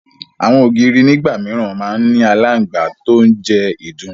Àwọn ògiri nígbà mìíràn máa ń ní aláǹgbá tó ń jẹ ìdun